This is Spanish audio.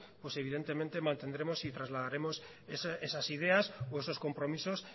pues evidentemente mantendremos y trasladaremos esas ideas o esos compromisos